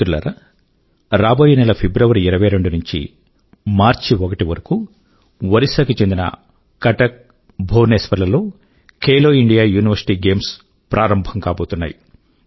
మిత్రులారా రాబోయే నెల ఫిబ్రవరీ 22 నుండీ మార్చి 1 వరకూ ఒడిశా కు చెందిన కటక్ ఇంకా భువనేశ్వర్ లోనూ ఖేలో ఇండియా యూనివర్సిటీ గేమ్స్ ప్రారంభం కాబోతున్నాయి